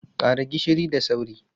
Ƙara gishiri da sauri!